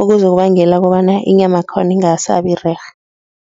okuzokubangela kobana inyamakhona ingasabirerhe.